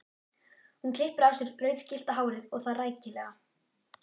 Hún klippir af sér rauðgyllta hárið og það rækilega.